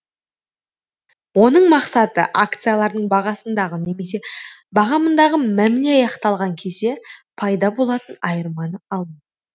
оның мақсаты акциялардың бағасындағы немесе бағамындағы мәміле аяқталған кезде пайда болатын айырманы алу